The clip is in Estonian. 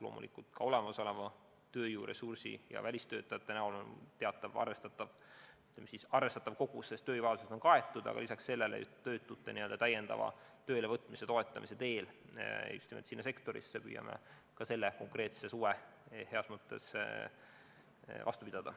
Loomulikult on olemasoleva tööjõuressursi ja välistöötajate näol arvestatav kogus inimesi olemas, tööjõuvajadused on enam-vähem kaetud, aga püüame lisaks sellele töötute täiendava töölevõtmise toetamise teel just nimelt sinna sektorisse abi anda, et see suvi suudetaks vastu pidada.